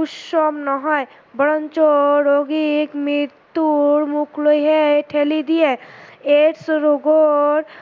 উচ্চ নহয় বৰঞ্চ ৰোগীৰ মৃত্যুৰ মুখ লৈ হে থেলি দিয়ে, AIDS ৰোগৰ